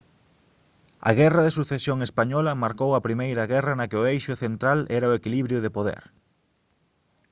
a guerra de sucesión española marcou a primeira guerra na que o eixo central era o equilibrio de poder